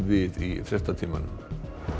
við í fréttatímanum